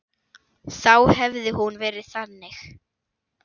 Þá hefði hún verið þannig: